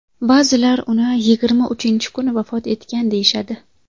Ba’zilar uni yigirma uchinchi kuni vafot etgan deyishadi.